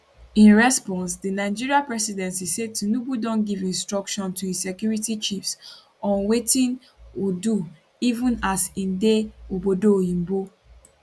in response di nigeria presidency say tinubu don give instructions to im security chiefs on wetin o do even as im dey obodo oyibo